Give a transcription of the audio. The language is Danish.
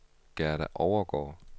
Gerda Overgaard